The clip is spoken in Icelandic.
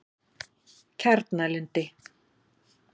Kjarnalundi